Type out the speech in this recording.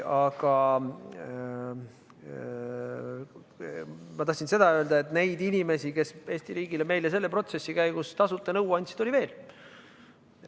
Aga ma tahan öelda seda, et neid inimesi, kes Eesti riigile, meile selle protsessi käigus tasuta nõu andsid, oli veel.